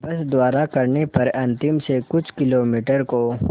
बस द्वारा करने पर अंतिम से कुछ किलोमीटर को